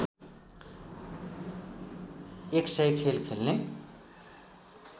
१०० खेल खेल्ने